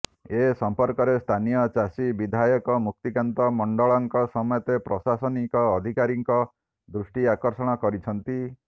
ଏ ସଂପର୍କରେ ସ୍ଥାନୀୟ ଚାଷୀ ବିଧାୟକ ମୁକ୍ତିକାନ୍ତ ମଣ୍ଡଳଙ୍କ ସମେତ ପ୍ରଶାସନିକ ଅଧିକାରୀଙ୍କ ଦୃଷ୍ଟି ଆକର୍ଷଣ କରିଛନ୍ତି